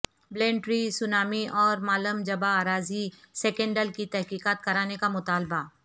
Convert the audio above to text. billion tree tsunami اور مالم جبہ اراضی سکینڈل کی تحقیقات کرانے کا مطالبہ